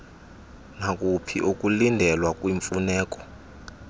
nakuphi ukulindelwa kwiimfuneko